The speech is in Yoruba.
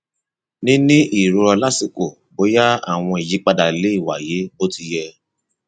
níní ìrora lásìkò bóyá àwọn ìyípadà lè wáyé bó ti yẹ